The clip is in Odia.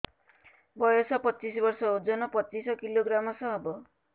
ବୟସ ପଚିଶ ବର୍ଷ ଓଜନ ପଚିଶ କିଲୋଗ୍ରାମସ ହବ